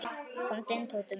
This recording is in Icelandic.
Komdu inn, Tóti minn.